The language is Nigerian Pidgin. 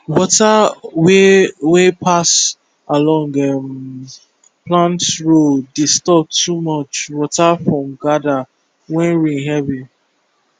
water way wey pass along um plant row dey stop too much water from gather when rain heavy